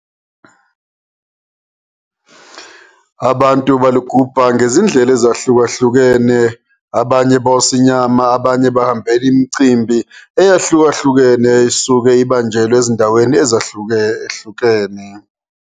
Abantu balugubha ngezindlela ezahlukahlukene abnaye bosa inyama, abanye hahambele imicimbi eyahlukahlukene esuke ibanjelwe ezindaweni ezahlukahlukene.